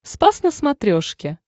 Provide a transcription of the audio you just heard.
спас на смотрешке